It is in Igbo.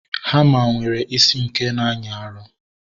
Hama nwere isi nke na-anyị arụ